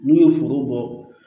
N'u ye foro bɔ